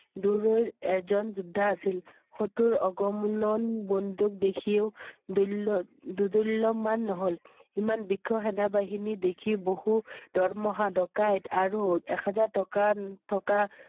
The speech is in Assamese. দূৰৈৰ এজন যোদ্ধা আছিল শত্ৰুৰ অগ~মূলন বন্দুক দেখিও দুল~দুদুল্লমান নহল। ইমান বৃক্ষ সেনাবাহিনী দেখি বহু দৰমহা ডকাইত আৰু এক হাজাৰ টকা~ন~থকা